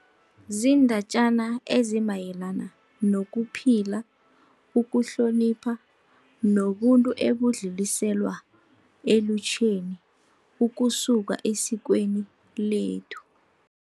Ziindatjana ezimayelana nokuphila, ukuhlonipha nobuntu ebudluliselwa elutjheni ukusuka esikweni lethu.